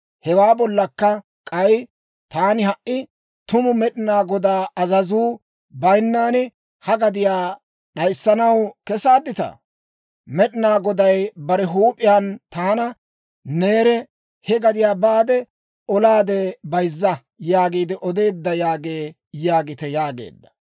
Hewaa bollakka k'ay, taani ha"i tumu Med'inaa Godaa azazuu bayinnan ha gadiyaa d'ayissanaw kesaadditaa? Med'inaa Goday bare huup'iyaan taana, «neere, he gadiyaa baade, olaade bayzza» yaagiide odeedda yaagee yaagite yaageedda.